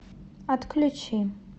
отключи